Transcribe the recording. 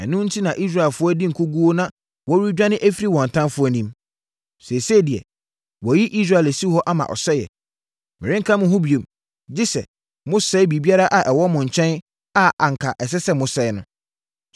Ɛno enti na Israelfoɔ adi nkoguo na wɔredwane afiri wɔn atamfoɔ anim. Seesei deɛ, wɔayi Israel asi hɔ ama ɔsɛeɛ. Merenka mo ho bio, gye sɛ mosɛe biribiara a ɛwɔ mo nkyɛn a anka ɛsɛ sɛ mosɛe no.